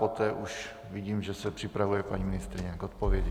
Poté už vidím, že se připravuje paní ministryně k odpovědi.